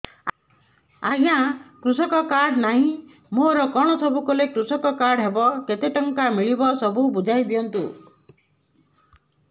ଆଜ୍ଞା କୃଷକ କାର୍ଡ ନାହିଁ ମୋର କଣ ସବୁ କଲେ କୃଷକ କାର୍ଡ ହବ କେତେ ଟଙ୍କା ମିଳିବ ସବୁ ବୁଝାଇଦିଅନ୍ତୁ